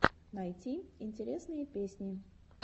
найти интересные песни